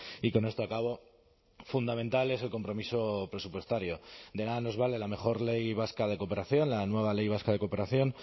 y con esto acabo fundamental es el compromiso presupuestario de nada nos vale la mejor ley vasca de cooperación la nueva ley vasca de cooperación